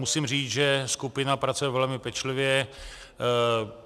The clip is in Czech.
Musím říct, že skupina pracuje velmi pečlivě.